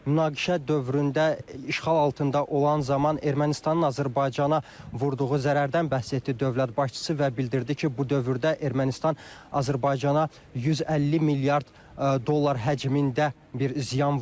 Münaqişə dövründə işğal altında olan zaman Ermənistanın Azərbaycana vurduğu zərərdən bəhs etdi dövlət başçısı və bildirdi ki, bu dövrdə Ermənistan Azərbaycana 150 milyard dollar həcmində bir ziyan vurub.